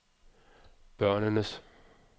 børnenes